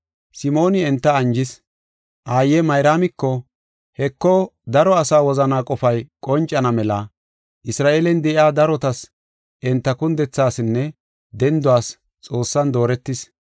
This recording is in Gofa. Simooni enta anjis. Aaye Mayraamiko, “Heko daro asaa wozanaa qofay qoncana mela, Isra7eelen de7iya darotas enta kundethaasinne denduwas Xoossan dooretis.